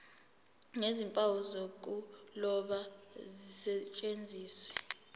nezimpawu zokuloba zisetshenziswe